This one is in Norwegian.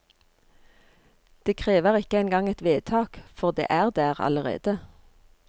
Det krever ikke engang et vedtak, for det er der allerede.